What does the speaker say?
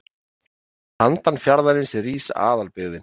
Handan fjarðarins rís aðalbyggðin.